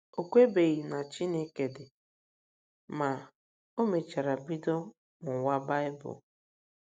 O kwebughị na Chineke dị, ma, o mechara bido mụwa Baịbụl.